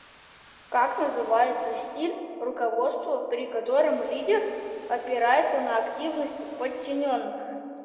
как называется стиль руководства при котором лидер опирается на активность подчиненных